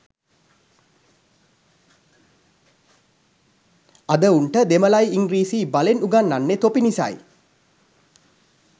අද උන්ට දෙමළයි ඉංග්‍රීසියි බලෙන් උගන්නන්නෙ තොපි නිසයි